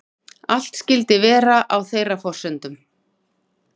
Allt skyldi vera á þeirra forsendum